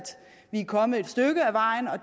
vi er kommet et stykke ad vejen og